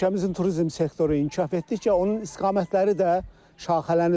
Ölkəmizin turizm sektoru inkişaf etdikcə onun istiqamətləri də şaxələnir.